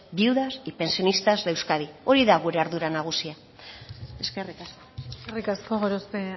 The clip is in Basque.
viudas y pensionistas de euskadi hori da gure ardura nagusia eskerrik asko eskerrik asko gorospe